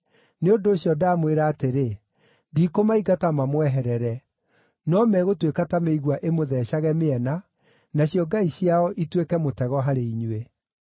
Nĩ ũndũ ũcio, ndamwĩra atĩrĩ, ndikũmaingata mamweherere; no megũtuĩka ta mĩigua ĩmũtheecage mĩena, nacio ngai ciao ituĩke mũtego harĩ inyuĩ.”